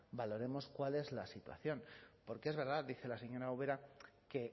valoremos cuál es la situación porque es verdad dice la señora ubera que